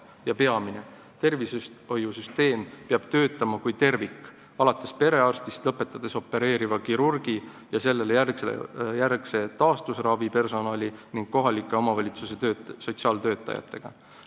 Ja peamine, tervishoiusüsteem peab töötama kui tervik, alates perearstist ja lõpetades opereeriva kirurgi ja operatsioonijärgse taastusravi personali ning kohaliku omavalitsuse sotsiaaltöötajatega.